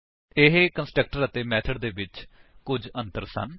ਇਹ ਕੰਸਟਰਕਟਰ ਅਤੇ ਮੇਥਡ ਦੇ ਵਿੱਚ ਕੁੱਝ ਅੰਤਰ ਸਨ